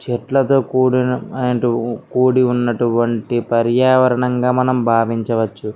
చెట్లతో కూడిన అటు చెట్లతో కూడినటువంటి పర్యావరణం గ మనము బావించవచ్చు.